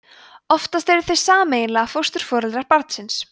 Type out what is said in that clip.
oftast eru þau sameiginlega fósturforeldrar barnsins